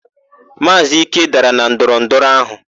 Maazị Ike dara na ndọrọndọrọ áhụ̀.